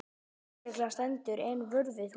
Lögreglan stendur enn vörð við húsið